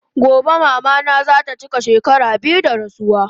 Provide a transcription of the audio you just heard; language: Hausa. Gobe mama na zata chika shekara biyu da rasuwa